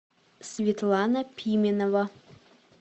светлана пименова